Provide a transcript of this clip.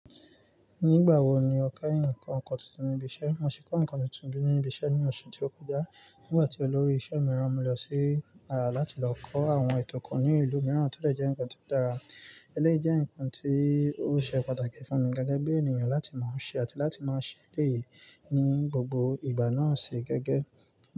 Nígbà wo ni o kẹ́yìn kọ́ nǹkan tuntun ní ibi iṣẹ́? Mo si kọ́ nǹkan tuntun ní ibi iṣẹ́ ní oṣù tí ó kọjá, nígbà tí olórí iṣẹ́ mi rán mi lọ sí láti lọ kọ́ àwọn ètò kan ní ìlú mìíràn tó lè jẹ́ nǹkan tí ó dára. Eléyìí jẹ́ nǹkan tí ó ṣe pàtàkì fún mi gẹ́gẹ́ bí ènìyàn láti máa ṣe àti láti máa ṣe eleyìí ní gbogbo ìgbà náà ṣe gẹ́gẹ́.